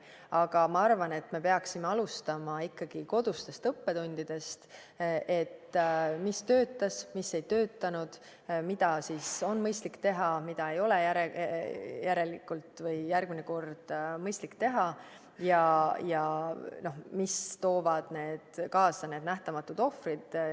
Aga ma arvan, et me peaksime alustama ikkagi kodustest õppetundidest: mis töötas, mis ei töötanud, mida on mõistlik teha, mida järelikult ei ole järgmine kord mõistlik teha ja mis toovad kaasa need nähtamatud ohvrid.